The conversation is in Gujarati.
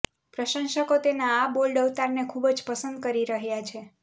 પ્રશંસકો તેના આ બોલ્ડ અવતારને ખુબજ પસંદ કરી રહ્યા છે